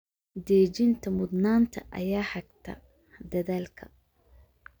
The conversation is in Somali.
Dejinta mudnaanta ayaa hagta dadaalka.